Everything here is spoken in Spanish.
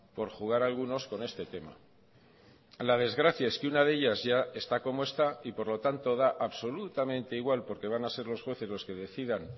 por jugar algunos con este tema la desgracia es que una de ellas ya está como está y por lo tanto da absolutamente igual porque van a ser los jueces los que decidan